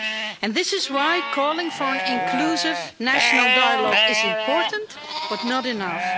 And this is why calling for an inclusive national dialogue is important, but not enough.